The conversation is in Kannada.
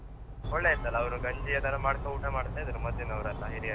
ಒಳ್ಳೆ ಇರ್ತದಲ್ಲ ಗಂಜಿ ಅದೆಲ್ಲ ಮಾಡ್ಕೊಂಡು ಊಟ ಮಾಡ್ತಾ ಇದ್ರು ಮೊದಲಿನವರೆಲ್ಲ ಹಿರಿಯರು.